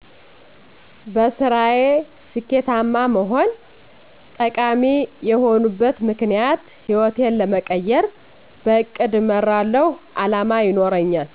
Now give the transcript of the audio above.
-በስራየ ስኬታማ መሆን - ጠቃሚ የሆነበት ምክኒያት ህይወቴን ለመቀየር -በእቅድ እመራለሁ አላማ ይኖረኛል